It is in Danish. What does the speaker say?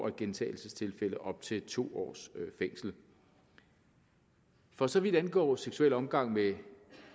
i gentagelsestilfælde op til to års fængsel for så vidt angår seksuel omgang med